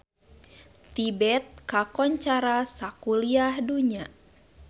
Tibet kakoncara sakuliah dunya